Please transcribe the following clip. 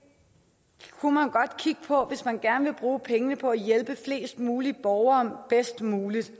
kunne man godt kigge på hvis man gerne vil bruge pengene på at hjælpe flest mulige borgere bedst muligt